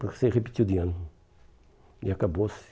Você repetiu de ano e acabou-se.